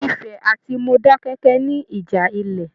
Ifẹ̀ àti Modákẹ́kẹ́ ní ìjà ilẹ.